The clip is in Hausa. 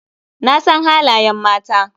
Na san halayen mata.